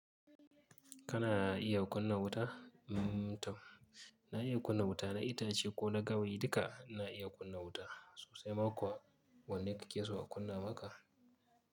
Kana iya kunna wuta? Mm to, na iya kunna wuta, na itace ko na gawayi duka na iya kunna wuta. Sosai ma kuwa. Wanne kike so a kunna maka?